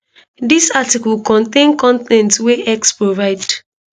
dis article contain con ten t wey x provide